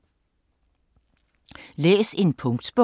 Læs en punktbog